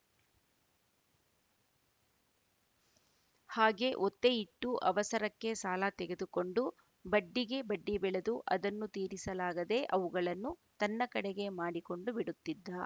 ಹಾಗೆ ಒತ್ತೆ ಇಟ್ಟು ಅವಸರಕ್ಕೆ ಸಾಲ ತೆಗೆದುಕೊಂಡು ಬಡ್ಡಿಗೆ ಬಡ್ಡಿ ಬೆಳೆದು ಅದನ್ನು ತೀರಿಸಲಾಗದೇ ಅವುಗಳನ್ನು ತನ್ನ ಕಡೆಗೇ ಮಾಡಿಕೊಂಡು ಬಿಡುತಿದ್ದ